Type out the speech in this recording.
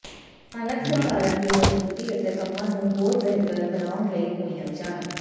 ਸਥਾਨਕ ਸਰਕਾਰਾਂ ਦੀ ਮਜ਼ਬੂਤੀ ਅਤੇ ਕੰਮਾਂ ਨੂੰ ਹੋਰ ਬਿਹਤਰ ਬਣਾਉਣ ਲਈ ਹੋਈਆਂ ਵਿਚਾਰਾਂ